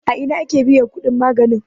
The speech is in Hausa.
a Ina ake biyan kudin maganin?